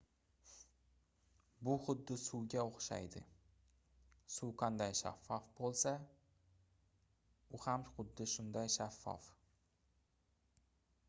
bu xuddi suvga oʻxshaydi suv qanday shaffof boʻlsa u ham xuddi shunday shaffof